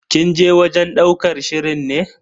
Kin je wajen ɗaukar shirin ne?